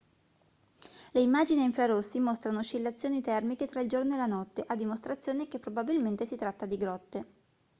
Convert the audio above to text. le immagini a infrarossi mostrano oscillazioni termiche tra il giorno e la notte a dimostrazione che probabilmente si tratta di grotte